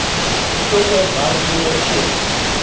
betrokke werknemer of